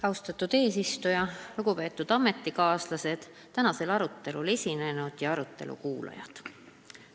Austatud eesistuja, lugupeetud ametikaaslased, tänasel arutelul esinenud ja arutelu kuulajad!